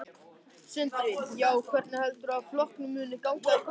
Sindri: Já, hvernig heldurðu að flokknum muni ganga í kosningum?